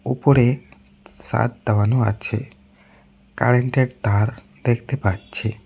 উপরে ছাদ দেওয়ানো আছে কারেন্টের তার দেখতে পাচ্ছি।